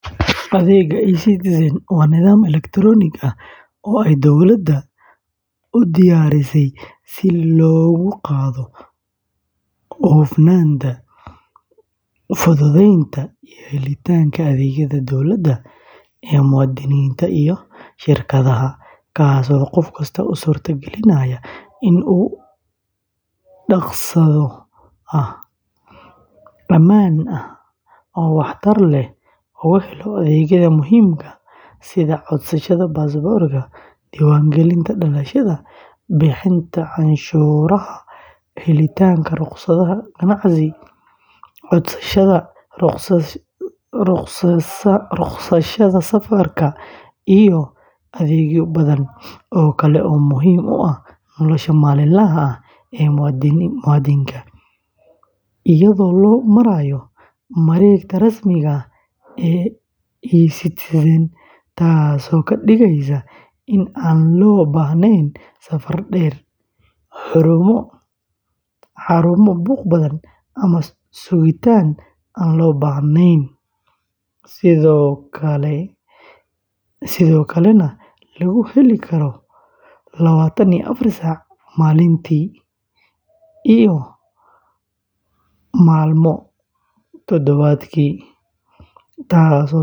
Adeegga eCitizen waa nidaam elektaroonik ah oo ay dowladda Soomaaliya u diyaarisay si kor loogu qaado hufnaanta, fududeynta iyo helitaanka adeegyada dowladda ee muwaadiniinta iyo shirkadaha, kaas oo qof kasta u suurtagelinaya inuu si dhakhso ah, ammaan ah oo waxtar leh uga helo adeegyada muhiimka ah sida codsashada baasaboorka, diiwaangelinta dhalashada, bixinta canshuuraha, helitaanka rukhsadaha ganacsiga, codsashada ruqsadaha safarka iyo adeegyo badan oo kale oo muhiim u ah nolosha maalinlaha ah ee muwaadinka, iyadoo loo marayo mareegta rasmiga ah ee eCitizen, taasoo ka dhigaysa in aan loo baahnayn safar dheer, xarumo buuq badan ama sugitaan aan loo baahnayn, sidoo kalena lagu heli karo lawaatan iyo afar saac maalintii iyo maalmood toddobaadkii, taasoo sare u qaadaysa isla xisaabtanka.